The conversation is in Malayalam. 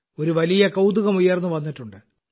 ഒരു വലിയ കൌതുകം ഉയർന്നുവന്നിട്ടുണ്ട്